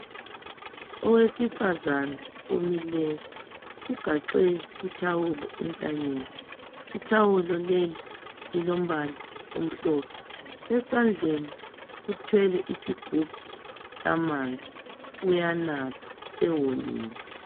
Owesifazana omileyo ugaxe ithawulo entanyeni ithawulo leli lilombala omhlophe esandleni uthwele isigubhu samanzi uyanathwa sewomile.